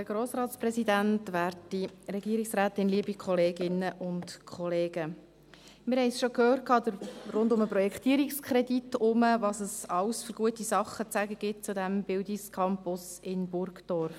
Wir haben schon rund um den Projektierungskredit gehört, was es alles für gute Dinge zu sagen gibt zu diesem Bildungscampus in Burgdorf.